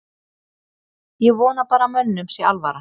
Ég vona bara að mönnum sé alvara.